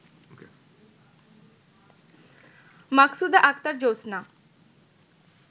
মাকসুদা Akter জোৎস্না